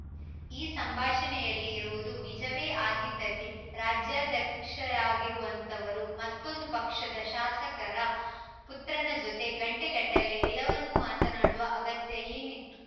ಈ ಸಂಭಾಷಣೆಯಲ್ಲಿ ಇರುವುದು ನಿಜವೇ ಆಗಿದ್ದಲ್ಲಿ ರಾಜ್ಯಾಧ್ಯಕ್ಷರಾಗಿರುವಂಥವರು ಮತ್ತೊಂದು ಪಕ್ಷದ ಶಾಸಕರ ಪುತ್ರನ ಜೊತೆ ಗಂಟೆಗಟ್ಟಲೇ ಎಲ್ಲವನ್ನೂ ಮಾತನಾಡುವ ಅಗತ್ಯ ಏನಿತ್ತು